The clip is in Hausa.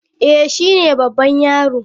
Eh, shi ne babban yaro.